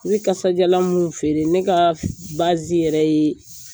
Ne bɛ kasajalan minnu feere ne ka yɛrɛ ye